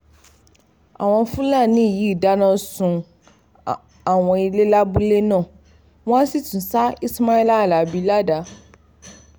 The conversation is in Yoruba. àwọn fúlàní yìí dáná sun àwọn ilé lábúlé náà wọ́n sì tún ṣá ismaila alábì ládàá